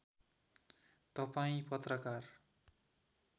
तपाईँ पत्रकार